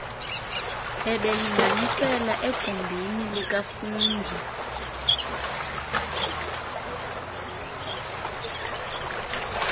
bebelinganisela egumbini likafungie